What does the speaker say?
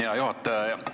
Hea juhataja!